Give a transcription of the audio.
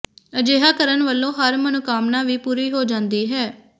ਅਜਿਹਾ ਕਰਣ ਵਲੋਂ ਹਰ ਮਨੋਕਾਮਨਾ ਵੀ ਪੂਰੀ ਹੋ ਜਾਂਦੀ ਹੈ